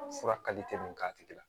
Fura kalite min k'a tigi la